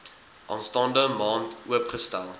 aanstaande maand oopgestel